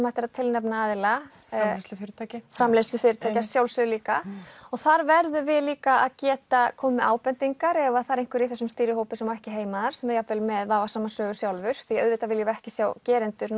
hægt að tilnefna aðila framleiðslufyrirtæki framleiðslufyrirtæki að sjálfsögðu líka og þar verðum við líka að geta komið með ábendingar ef þar er einhver í þessum stýrihópi sem ekki á heima þar sem er jafnvel með vafasama sögu sjálfur því auðvitað viljum við ekki sjá gerendur